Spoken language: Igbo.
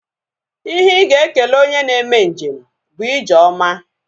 Ihe ị ga-ekele onye na-eme njem bụ ije ọma